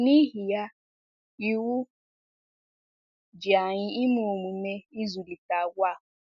N’ihi ya, iwu ji anyị ime omume ịzụlite àgwà a.